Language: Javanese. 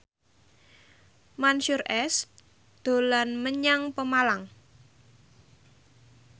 Mansyur S dolan menyang Pemalang